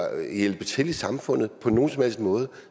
hjælpe til i samfundet på nogen som helst måde